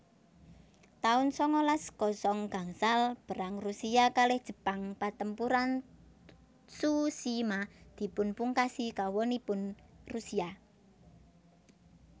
taun sangalas kosong gangsal Perang Rusia kalih Jepang Patempuran Tsushima dipunpungkasi kawonipun Rusia